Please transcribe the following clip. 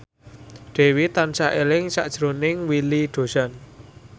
Dewi tansah eling sakjroning Willy Dozan